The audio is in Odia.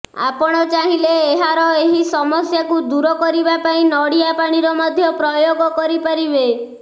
ଆପଣ ଚାହିଁଲେ ଏହାର ଏହି ସମସ୍ୟାକୁ ଦୂର କରିବା ପାଇଁ ନଡିଆ ପାଣିର ମଧ୍ୟ ପ୍ରୟୋଗ କରିପାରିବେ